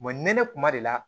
nɛnɛ kuma de la